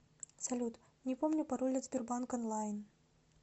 салют не помню пароль от сбербанк онлайн